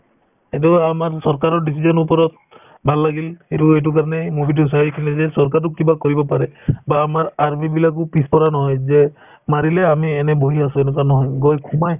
এইটো আমাৰ চৰকাৰৰ decision ৰ ওপৰত ভাল লাগিল সেইটো এইটো কাৰণে movie তো চাই কিনে যে চৰকাৰেও কিবা কৰিব পাৰে বা আমাৰ army বিলাকো পিছপৰা নহয় যে মাৰিলে আমি এনে বহি আছো এনেকুৱা নহয় গৈ সোমাই